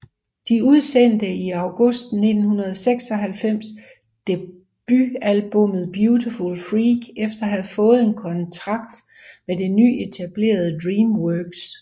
De udsendte i august 1996 debutalbummet Beautiful Freak efter at have fået en kontrakt med det nyetablerede Dreamworks